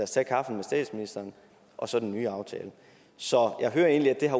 tage kaffen med statsministeren og så den nye aftale så jeg hører egentlig at